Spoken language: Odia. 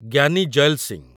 ଜ୍ଞାନୀ ଜୈଲ୍ ସିଂ